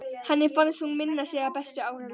Henni fannst hún minna sig á bestu ár lífsins.